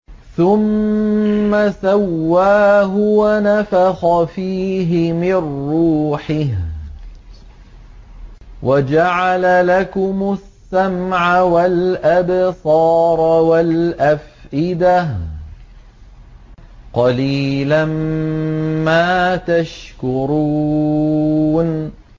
ثُمَّ سَوَّاهُ وَنَفَخَ فِيهِ مِن رُّوحِهِ ۖ وَجَعَلَ لَكُمُ السَّمْعَ وَالْأَبْصَارَ وَالْأَفْئِدَةَ ۚ قَلِيلًا مَّا تَشْكُرُونَ